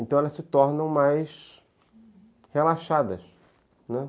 Então elas se tornam mais relaxadas, né?